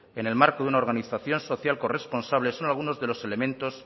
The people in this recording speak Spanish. en el marco de una organización social corresponsable son algunos de los elementos